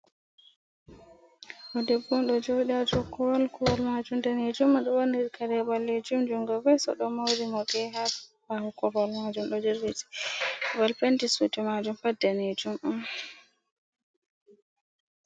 Ɗo debbo on ɗo jodi ha dou korowal korowal majum danejum o ɗo ɓorni kare ɓalejum jungo ves oɗo mori morɗi ha ɓawo korwal majum ɗo jelbiti babal penti sudui majum pat danejum on.